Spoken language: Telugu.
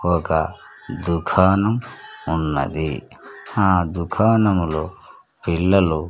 ఒక దుకాణం ఉన్నది ఆ దుకాణంలో పిల్లలు --